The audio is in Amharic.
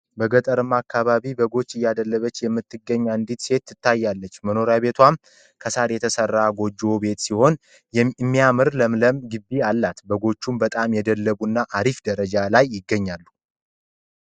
በገጠራማ አካባቢ በጎች እያደለበች የምትገኝ አንድ ሴት ትታያለች መኖርያ ቦቱዋም ከ ሳር የተሰራ ጎጆ ቤት ሲሆን እሚያምር ለምለም ግቢ አላት። በጎችም በጣም የደለቡና አሪፍ ደረጃ ላይ ይገኛሉ